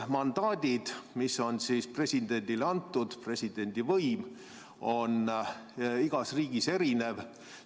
Ja mandaadid, mis on presidendile antud, presidendi võim on igas riigis erinev.